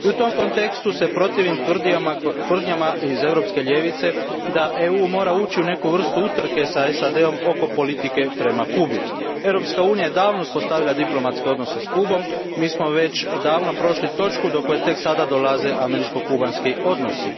I u tom kontekstu se protivim tvrdnjama iz europske ljevice da EU mora ući u neku vrstu utrke s SAD om oko politike prema Kubi. Europska unija je davno uspostavila diplomatske odnose s Kubom, mi smo već davno prošli točku do koje tek sada dolaze američko kubanski odnosi.